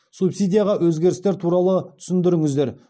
субсидиядағы өзгерістер туралы түсіндіріңіздер